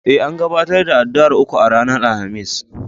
E, an gabatar da addu'ar uku ranar Alhamis.